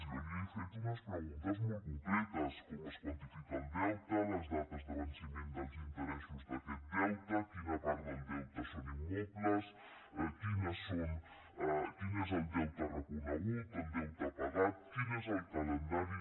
jo li he fet unes preguntes molt concretes com es quantifica el deute les dates de venciment dels interessos d’aquest deute quina part del deute són immobles quin és el deute reconegut el deute pagat quin és el calendari